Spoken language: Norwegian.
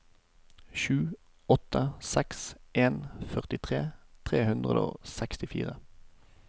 sju åtte seks en førtitre tre hundre og sekstifire